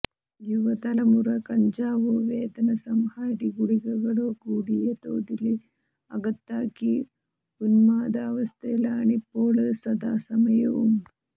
യുവതലമുറ കഞ്ചാവോ വേദനസംഹാരി ഗുളികകളോ കൂടിയ തോതില് അകത്താക്കി ഉന്മാദാവസ്ഥയിലാണിപ്പോള് സദാസമയവും